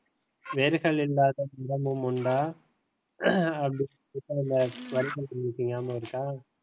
வேர்கள் இல்லாத உண்டா இருக்கா